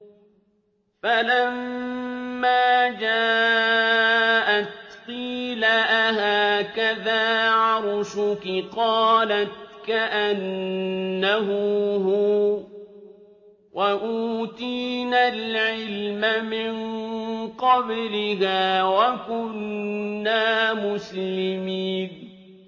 فَلَمَّا جَاءَتْ قِيلَ أَهَٰكَذَا عَرْشُكِ ۖ قَالَتْ كَأَنَّهُ هُوَ ۚ وَأُوتِينَا الْعِلْمَ مِن قَبْلِهَا وَكُنَّا مُسْلِمِينَ